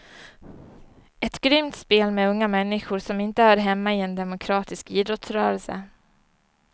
Ett grymt spel med unga människor som inte hör hemma i en demokratisk idrottsrörelse.